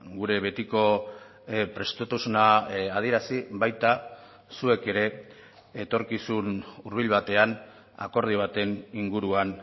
gure betiko prestutasuna adierazi baita zuek ere etorkizun hurbil batean akordio baten inguruan